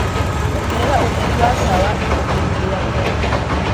ongerera ũtherĩ wa tawa ikumbi ini ria mbere..